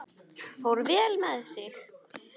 Fór vel með sig.